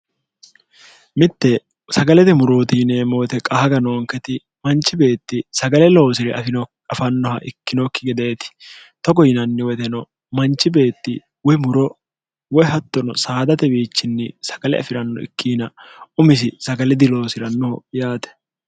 mitte sagalete murootiineemmo woyite qahaga noonketi manchi beetti sagale loosi're afino afannoha ikkinokki gedeeti togo yinanni woyiteno manchi beetti woy muro woy hattono saadate wiichinni sagale afi'ranno ikkina umisi sagale diloosi'rannoho yaate